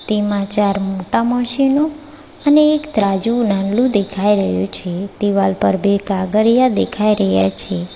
તેમાં ચાર મોટા મસીનો અને એક ત્રાજવું નાનલું દેખાઈ રહ્યું છે દિવાલ પર બે કાગરીયા દેખાઈ રહ્યા છે.